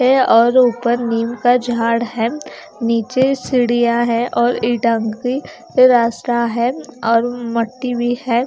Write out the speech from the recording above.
और ऊपर नीम का झाड़ है नीचे सीढ़ियाँ है और और रास्ता है और मट्टी भी है।